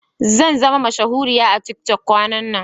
Zanzama mashahuriya a tiktok kwanan nan.